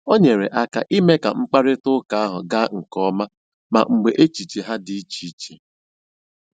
O nyere aka ime ka mkparịta ụka ahụ gaa nke ọma ma mgbe echiche ha dị iche iche